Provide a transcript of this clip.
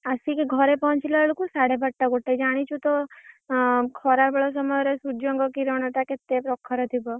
ଆସିକି ଘରେ ପହଞ୍ଚିଲା ବେଳକୁ ସାଢ଼େବାରଟା ଗୋଟେ ଜନିଛୁ ତ ଆଁ ଖରା ବେଳ ସମୟରେ ସୂର୍ଯ୍ୟଙ୍କ କିରଣ ଟା କେତେ ପ୍ରଖର ଥିବ।